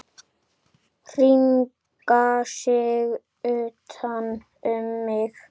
Hringa sig utan um mig.